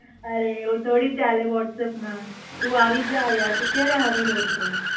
અરે આવુ થોડી ચલે Whatsapp મા તુ એવી જા અહિયા તુ ક્યારે આવીરહ્યો તો.